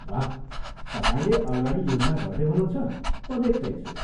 वाह, तपाईँले अगाडि योजना गर्दै हुनुहुन्छ, म देख्तैछु।